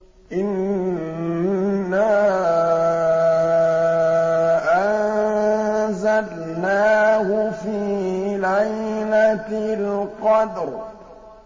إِنَّا أَنزَلْنَاهُ فِي لَيْلَةِ الْقَدْرِ